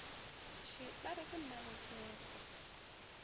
še ba re ke mmaletswetswe